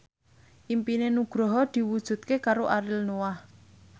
impine Nugroho diwujudke karo Ariel Noah